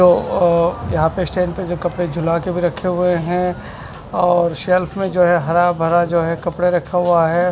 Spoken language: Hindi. जो अ यहाँ पे स्टैंड पे जो कपड़े ला के भी रखे हैं और शेल्फ में जो है हरा भरा जो हैं कपड़े रखा हुआ है।